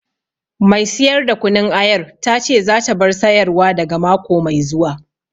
Mai siyar da kunun ayar ta ce za ta bar sayar wa daga mako mai zuwa